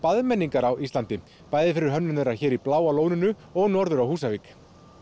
baðmenningar fyrir hönnun hér í Bláa lóninu og norður á Húsavík